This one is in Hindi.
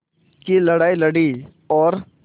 की लड़ाई लड़ी और